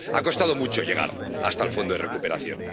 Ha costado mucho llegar hasta el fondo de recuperación.